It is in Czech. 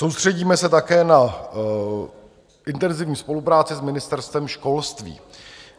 Soustředíme se také na intenzivní spolupráci s Ministerstvem školství.